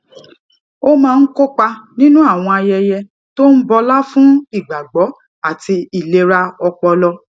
ó máa ń kópa nínú àwọn ayẹyẹ tó ń bọlá fún ìgbàgbó àti ìlera ọpọlọ